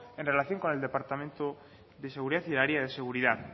en relación con el departamento de seguridad y el área de seguridad